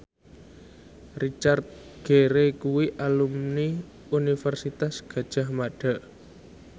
Richard Gere kuwi alumni Universitas Gadjah Mada